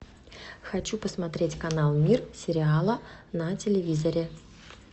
хочу посмотреть канал мир сериала на телевизоре